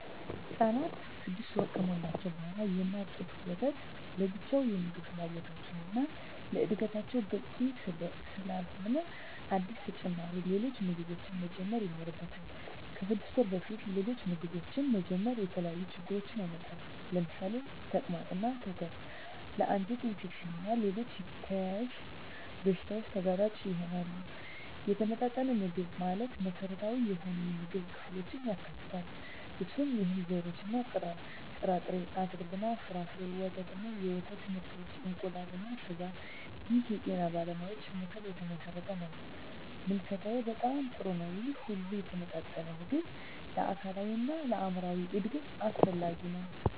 ህፃናት 6 ወር ከሞላቸው በዋላ የእናት ጡት ወተት ለብቻው የምግብ ፍላጎታቸውን እና ለዕድገታቸው በቂ ስላለሆነ አዳዲስ ተጨማሪ ሌሎች ምግቦችን መጀመር ይኖርባቸዋል። ከ6 ወር በፊት ሌሎች ምግቦችን መጀመር የተለያዩ ችግሮችን ያመጣል ለምሳሌ ተቅማጥ እና ትውከት ለ አንጀት ኢንፌክሽን እና ሌሎች ተያያዝ በሺታዎች ተጋላጭ ይሆናሉ። የተመጣጠነ ምግብ ማለት መሰረታዊ የሆኑ የምግብ ክፍሎችን ያካትታል። እነሱም፦ የእህል ዘርሮች እና ጥርጣሬ፣ አትክልት እና ፍራፍሬ፣ ወተት እና የወተት ምርቶች፣ እንቁላል እና ስጋ ይህ የጤና ባለሙያዎች ምክር የተመሠረተ ነው። ምልከታዬ በጣም ጥሩ ነው ይህ ሁሉ የተመጣጠነ ምግብ ለአካላዊ እና ለአይምራዊ እድገት አስፈላጊ ነው።